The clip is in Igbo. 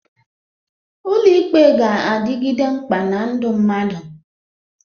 Ụlọ ikpe ga-adịgide mkpa na ndụ mmadụ.